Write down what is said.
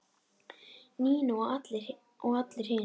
Nína og allir hinir.